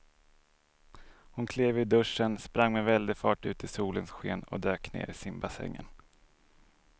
Hon klev ur duschen, sprang med väldig fart ut i solens sken och dök ner i simbassängen.